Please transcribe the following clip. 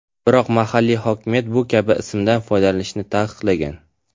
Biroq mahalliy hokimiyat bu kabi ismdan foydalanishni taqiqlagan.